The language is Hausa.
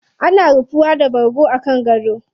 Ana ruhuwa da bargo a kan gado.